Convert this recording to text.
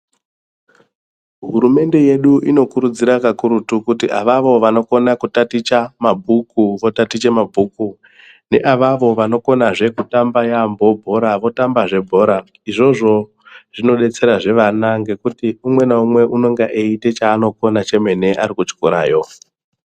Hurumende yedu inokurudzira kakurutu kuti avavo vanokona kutaticha votaticha mabhuku neavavavo vanokoaezve kutamba Yamhoo bhora Votambazve bhora izvozvo zvinodetsera zve vana ngekuti umwe naumwe unenge eite chaaonokona ari kuchikorayo.